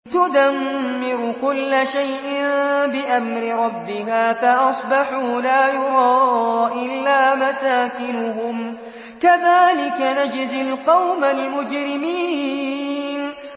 تُدَمِّرُ كُلَّ شَيْءٍ بِأَمْرِ رَبِّهَا فَأَصْبَحُوا لَا يُرَىٰ إِلَّا مَسَاكِنُهُمْ ۚ كَذَٰلِكَ نَجْزِي الْقَوْمَ الْمُجْرِمِينَ